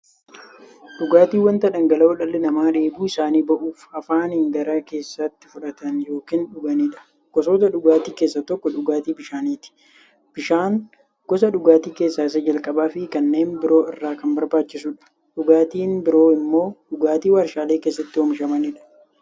Dhugaatiin wanta dhangala'oo dhalli namaa dheebuu isaanii ba'uuf, afaaniin gara keessaatti fudhatan yookiin dhuganiidha. Gosoota dhugaatii keessaa tokko dhugaatii bishaaniti. Bishaan gosa dhugaatii keessaa isa jalqabaafi kanneen biroo irra kan barbaachisuudha. Dhugaatiin biroo immoo dhugaatii waarshalee keessatti oomishamaniidha.